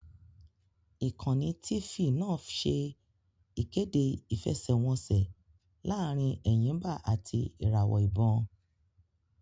Ìkànnì Tifì náà ṣẹ́ ìkéde ìfẹsẹ́wọnseẹ̀ laarin Ẹ̀yìmbà àti ìràwọ̀ ìbon